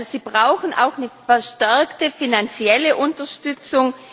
Also, sie brauchen auch eine verstärkte finanzielle Unterstützung.